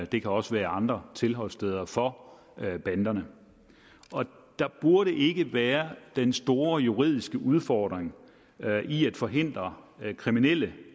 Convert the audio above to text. det kan også være andre tilholdssteder for banderne der burde ikke være den store juridiske udfordring i at forhindre kriminelle